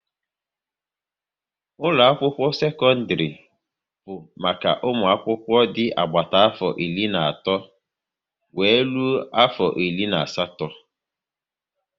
Ụlọ akwụkwọ sekọndrị bụ maka ụmụ akwụkwọ dị agbata afọ iri na otu wéré rụọ afọ iri na asatọ